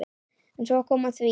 En svo kom að því.